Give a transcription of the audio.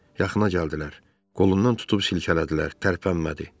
Yaxına gəldilər, qolundan tutub silkələdilər, tərpənmədi.